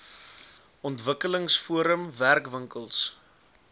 ontwikkelings forum werkwinkels